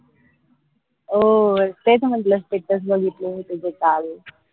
हो तेच म्हंटल status बघितले मी तुझे काल